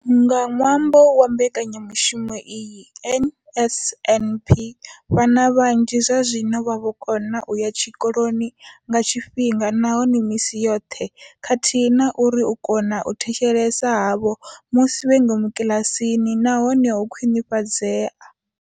Nga ṅwambo wa mbekanyamushumo iyi ya NSNP, vhana vhanzhi zwazwino vha vho kona u ya tshikoloni nga tshifhinga nahone misi yoṱhe khathihi na uri u kona u thetshelesa havho musi vhe ngomu kiḽasini na hone ho khwinifhadzea.